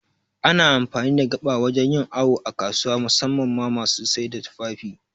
Ana amfani da gaba wajan yin awu a kasuwa, musamman ma masu saida tufafi